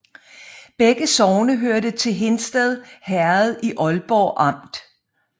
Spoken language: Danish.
Begge sogne hørte til Hindsted Herred i Ålborg Amt